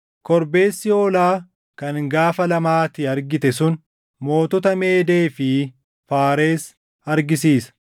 Korbeessi hoolaa kan gaafa lamaa ati argite sun, mootota Meedee fi Faares argisiisa.